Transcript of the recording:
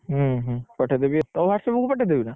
ହୁଁ ହୁଁ, ପଠେଇଦେବି ଆଉ ତୋ whatsapp କୁ ପଠେଇଦେବି ତ?